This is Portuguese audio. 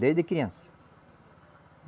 Desde criança.